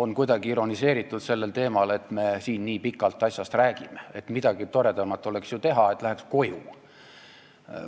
on kuidagi ironiseeritud sellel teemal, et me siin nii pikalt asjast räägime, et oleks ju midagi toredamat teha, et läheks koju.